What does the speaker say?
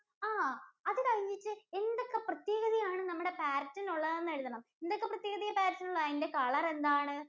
ആഹ് അത് കഴിഞ്ഞിട്ട് എന്തൊക്കെ പ്രത്യേകതയാണ് നമ്മുടെ Parrot ഇന് ഉള്ളതെന്ന് എഴുതണം. എന്തൊക്കെ പ്രത്യേകതയാ Parrot ഇന് ഉള്ളത്? അതിന്‍റെ color എന്താണ്?